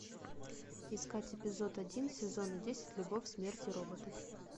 искать эпизод один сезона десять любовь смерть и роботы